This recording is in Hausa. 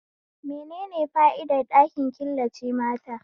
Menene fa'idar ɗakin killace mata?